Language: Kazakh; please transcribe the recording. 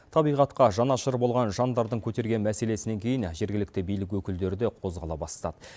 табиғатқа жанашыр болған жандардың көтерген мәселесінен кейін жергілікті билік өкілдері де қозғала бастады